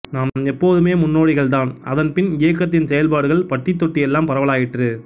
நாம் எப்போதுமே முன்னோடிகள் தான் அதன் பின் இயக்கத்தின் செயல்பாடுகள் பட்டி தொட்டி எல்லாம் பரவலாயிற்று